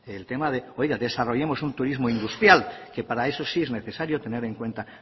el tema de desarrollemos un turismo industrial que para eso sí es necesario tener en cuenta